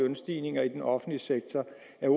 er